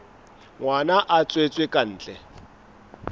ngwana a tswetswe ka ntle